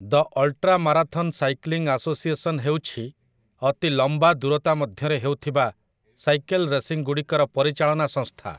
ଦ ultra marathon cycling association ହେଉଛି ଅତି ଲମ୍ବା ଦୂରତା ମଧ୍ୟରେ ହେଉଥିବା ସାଇକେଲ୍ ରେସିଂଗୁଡ଼ିକର ପରିଚାଳନା ସଂସ୍ଥା ।